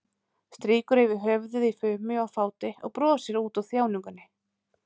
Strýkur yfir höfuðið í fumi og fáti og brosir út úr þjáningunni.